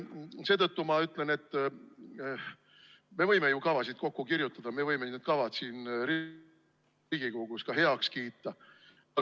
Seetõttu ma ütlen, et me võime ju kavasid kokku kirjutada, me võime need kavad siin Riigikogus heaks kiita.